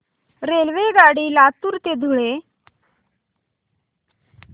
रेल्वेगाडी लातूर ते धुळे